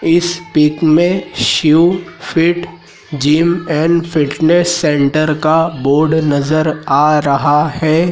इस पिक में Shiv fit gym and fitness centre का बोर्ड नजर आ रहा है।